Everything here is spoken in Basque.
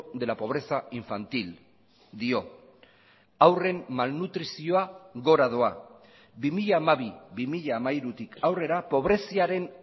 de la pobreza infantil dio haurren malnutrizioa gora doa bi mila hamabi bi mila hamairutik aurrera pobreziaren